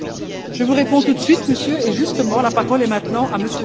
Je vous réponds tout de suite, Monsieur, et justement la parole est maintenant à M.